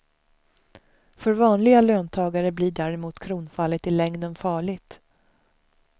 För vanliga löntagare blir däremot kronfallet i längden farligt.